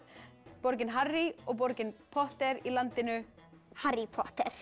borgin Harry og borgin Potter í landinu Harry Potter